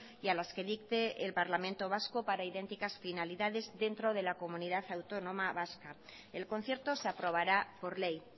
y a las que dicte el parlamento vasco para idénticas finalidades dentro de la comunidad autónoma vasca el concierto se aprobará por ley